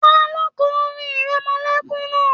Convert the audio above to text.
Taló n kọ orin ìrẹmọlẹ́kún náà?